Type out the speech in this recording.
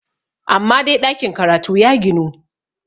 amma dai ɗakin karatu ya ginu!